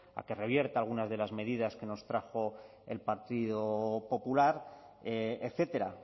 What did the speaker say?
que revierta algunas de las medidas que nos trajo el partido popular etcétera